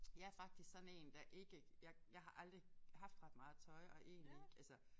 Jeg faktisk sådan én der ikke jeg jeg har aldrig haft ret meget tøj og egentlig ikke altså